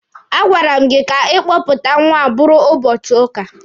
A gwara m gị ka ịkpọpụta nwa a bụrụ ụbọchị ụka!